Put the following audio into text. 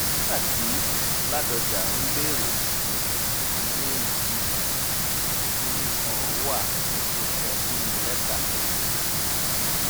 nígbà tí ládónjá ń béèrè ilé yìí kinní kan wà tó kọ sínú lẹ́tà tó fi béèrè